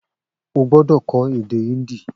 O gbódò kọ́ èdè híńdì